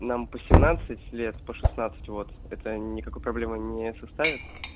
нам по семнадцать лет по шестнадцать вот это никакой проблемы не составит